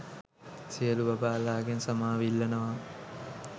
සියලු බබාලා ගෙන් සමාව ඉල්ලනවා